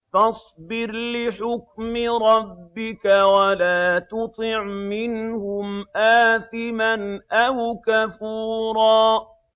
فَاصْبِرْ لِحُكْمِ رَبِّكَ وَلَا تُطِعْ مِنْهُمْ آثِمًا أَوْ كَفُورًا